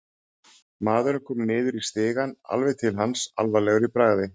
Maðurinn kom niður í stigann, alveg til hans, alvarlegur í bragði.